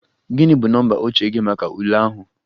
Gị bụ nọmba oche gị maka ule ahụ?